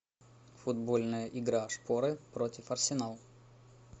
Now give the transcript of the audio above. футбольная игра шпоры против арсенал